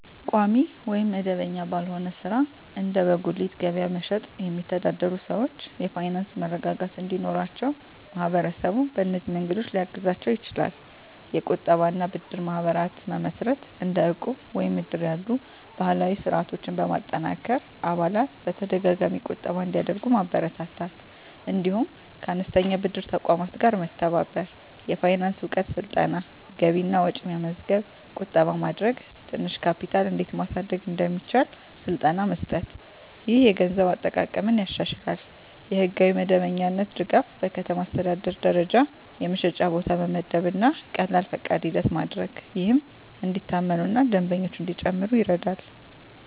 ቋሚ ወይም መደበኛ ባልሆነ ሥራ (እንደ በጉሊት ገበያ መሸጥ) የሚተዳደሩ ሰዎች የፋይናንስ መረጋጋት እንዲኖራቸው ማህበረሰቡ በእነዚህ መንገዶች ሊያግዛቸው ይችላል፦ የቁጠባ እና ብድር ማህበራት መመስረት – እንደ ዕቁብ ወይም እድር ያሉ ባህላዊ ስርዓቶችን በማጠናከር አባላት በተደጋጋሚ ቁጠባ እንዲያደርጉ ማበረታታት። እንዲሁም ከአነስተኛ ብድር ተቋማት ጋር መተባበር። የፋይናንስ እውቀት ስልጠና – ገቢና ወጪ መመዝገብ፣ ቁጠባ ማድረግ፣ ትንሽ ካፒታል እንዴት ማሳደግ እንደሚቻል ስልጠና መስጠት። ይህ የገንዘብ አጠቃቀምን ያሻሽላል። የሕጋዊ መደበኛነት ድጋፍ – በከተማ አስተዳደር ደረጃ የመሸጫ ቦታ መመደብ እና ቀላል ፈቃድ ሂደት ማድረግ፣ ይህም እንዲታመኑ እና ደንበኞች እንዲጨምሩ ይረዳል።